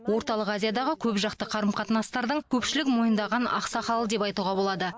орталық азиядағы көпжақты қарым қатынастардың көпшілік мойындаған ақсақалы деп айтуға болады